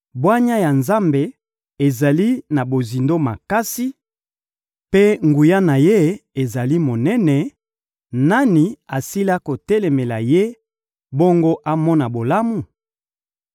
Bwanya ya Nzambe ezali na bozindo makasi, mpe nguya na Ye ezali monene; nani asila kotelemela Ye, bongo amona bolamu?